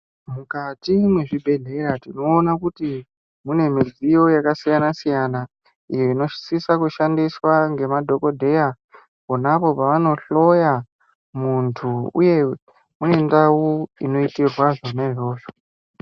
Mukati mwezvibhedhlera tinoona kuti mune mudziyo yakasiyana siyana, iyo inosiswa kushandiswa ngemadhokodheya ponapo pavanohloya muntu uye kune ndau inoitirwa zvona izvozvo.